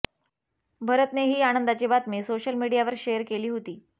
भरतने ही आनंदाची बातमी सोशल मीडियावर शेअर केली होती